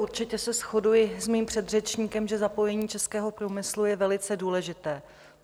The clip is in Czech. Určitě se shoduji s mým předřečníkem, že zapojení českého průmyslu je velice důležité.